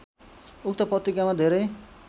उक्त पत्रिकामा धेरै